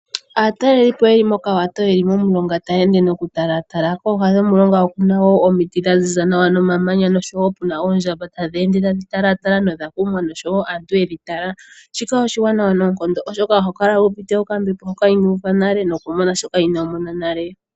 Aatalelipo yeli moka wato yeli momulonga taya ende noku talatala. Kooha dhomulonga okuna woo omiti dha ziza nawa . Kuna oondjamba tadhi ende tadhi talatala nodha kumwa nosho woo aantu yedhi tala. Shika oshiwanawa noonkondo oshoka ohokala wu uvite oka mbepo hoka inoo uva nale noku mona shoka inoomona nale.